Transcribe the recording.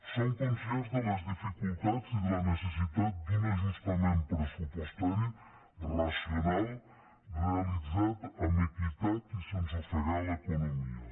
som conscients de les dificultats i de la necessitat d’un ajustament pressupostari racional realitzat amb equitat i sense ofegar l’economia